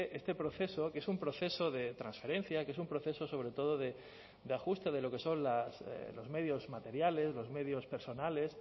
este proceso que es un proceso de transferencia que es un proceso sobre todo de ajuste de lo que son los medios materiales los medios personales